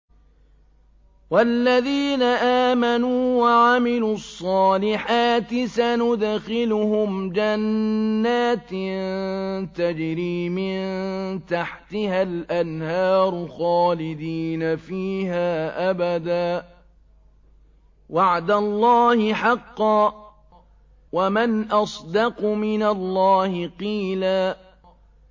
وَالَّذِينَ آمَنُوا وَعَمِلُوا الصَّالِحَاتِ سَنُدْخِلُهُمْ جَنَّاتٍ تَجْرِي مِن تَحْتِهَا الْأَنْهَارُ خَالِدِينَ فِيهَا أَبَدًا ۖ وَعْدَ اللَّهِ حَقًّا ۚ وَمَنْ أَصْدَقُ مِنَ اللَّهِ قِيلًا